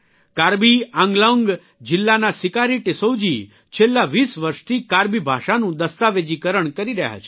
કાર્બિ આંગલોંગ જીલ્લાના સિકારી ટિસ્સૌ જી છેલ્લા 20 વર્ષથી કાર્બી ભાષાનું દસ્તાવેજીકરણ કરી રહ્યા છે